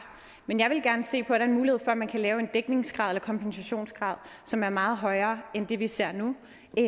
men jeg ville gerne se på den mulighed at man kunne lave en dækningsgrad eller kompensationsgrad som er meget højere end den vi ser nu